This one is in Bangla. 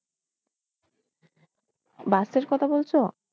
bus এর কথা বলছ?